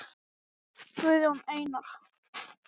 Pappakassinn er á sínum stað hjá þvottavélinni.